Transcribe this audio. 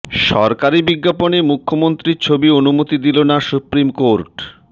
সরকারি বিজ্ঞাপনে মুখ্যমন্ত্রীর ছবির অনুমতি দিল না সুপ্রিম কোর্ট